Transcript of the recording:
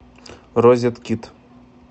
розет кит